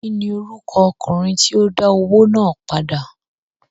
kín ni orúkọ ọkùnrin tí ó dá owó náà padà?